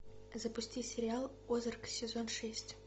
запусти сериал озарк сезон шесть